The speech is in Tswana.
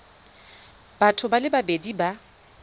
batho ba le babedi ba